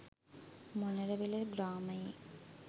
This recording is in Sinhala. මොණරවිල ග්‍රාමයේ